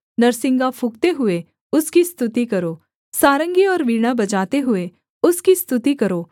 नरसिंगा फूँकते हुए उसकी स्तुति करो सारंगी और वीणा बजाते हुए उसकी स्तुति करो